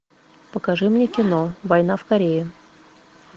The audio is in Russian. покажи мне кино война в корее